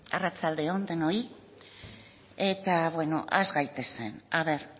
arratsalde on denoi eta bueno has gaitezen a ver